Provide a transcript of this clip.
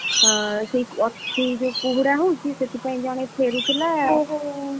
ହଁ, ଅତି ଯୋଉ କୁହୁଡା ହଉଛି ସେଥିପାଇଁ ଜଣେ ଫେରୁଥିଲା ଓହୋ,